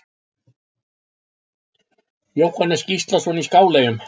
Jóhannes Gíslason í Skáleyjum